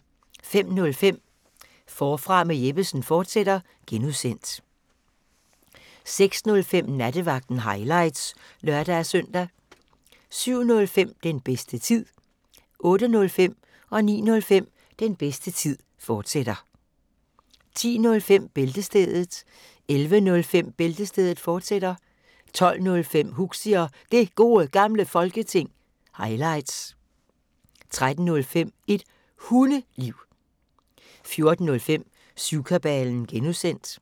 05:05: Forfra med Jeppesen fortsat (G) 06:05: Nattevagten – highlights (lør-søn) 07:05: Den bedste tid 08:05: Den bedste tid, fortsat 09:05: Den bedste tid, fortsat 10:05: Bæltestedet 11:05: Bæltestedet, fortsat 12:05: Huxi og Det Gode Gamle Folketing – highlights 13:05: Et Hundeliv 14:05: Syvkabalen (G)